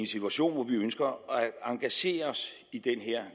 situation hvor vi ønsker at engagere os i den her